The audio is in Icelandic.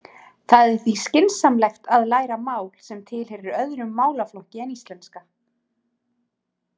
Það er því skynsamlegt að læra mál sem tilheyrir öðrum málaflokki en íslenska.